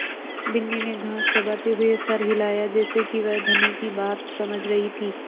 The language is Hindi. बिन्नी ने घास चबाते हुए सर हिलाया जैसे कि वह धनी की बात समझ रही थी